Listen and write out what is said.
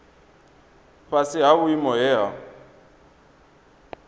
fhasi ha vhuimo he ha